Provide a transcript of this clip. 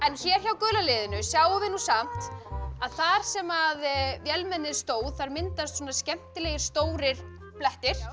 hér hjá gula liðinu sjáum við nú samt að þar sem vélmennið stóð þar myndast skemmtilegir stórir blettir